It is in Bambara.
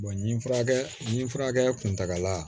nin furakɛ ni furakɛ kuntagala